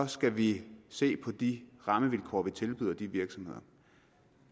skal vi se på de rammevilkår vi tilbyder de virksomheder